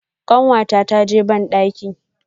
kanwata ta ji bandaki.